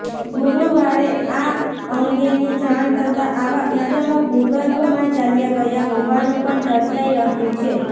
ગુરૂવારે આ અંગેની જાણ થતાં આવા ઇસમો ભૂર્ગભમાં ચાલ્યા ગયા હોવાનું પણ ચર્ચાઇ રહ્યું છે